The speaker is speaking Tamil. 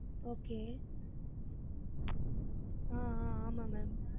Okay ஆஹ் ஆஹ் ஆமா ma'am